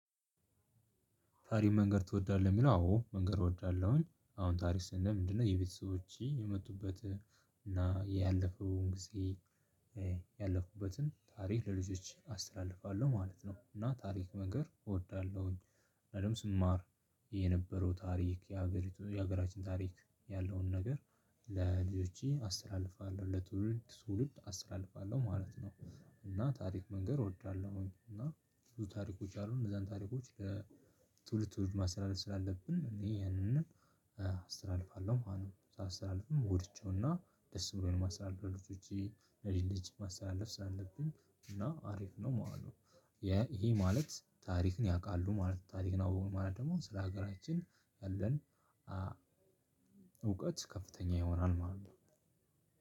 ታሪክ መንገር ትወዳለህ የሚለው አዎ መንገር እወዳለሁኝ አሁን ታሪክ ስንል ምንድነው? የቤተሰቦቼ የመጡበት እና ያለፈውን ጊዜ ያለፉበትን ታሪክ ለልጆች አስተላልፋለሁ ማለት ነው። እና ታሪክ መንገር እወዳለሁኝ። እኔም ስማር የነበረው ታሪክ የሀገሪቱ የሀገራችን ታሪክ ያለውን ነገር ለልጆቼ አስተላልፋለሁ ለትውልድ ትውልድ አስተላልፋለሁ ማለት ነው። እና ታሪክ መንገር እወዳለሁ እና ብዙ ታሪኮች አሉ እነዛን ታሪኮች ለትውልድ ትውልድ ማስተላለፍ ስላለብን እኔ ያንን አስተላልፋለሁ ማለት ነው። ሳስተላልፍም ጎድቼውና ደስ ብሎኝ ማስተላለፍ ለልጆቼ ለልጅ ልጅ ማስተላለፍ ስላለብኝ እና አሪፍ ነው ማለት ነው። ይህ ማለት ታሪክን ያቃሉ ማለት ነው። ታሪክን አወቁ ማለት ደግሞ ስለ ሀገራችን ያለን እውቀት ከፍተኛ ይሆናል ማለት ነው።